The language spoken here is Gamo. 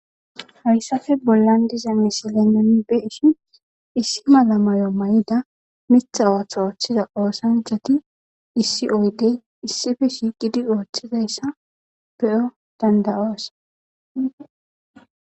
Hayappe bollan diza misile nuni beyishn issi mala mayo mayida Mitha ootho othiza asati issi oyde issipe shiiqidin othizaysa beyo dand'os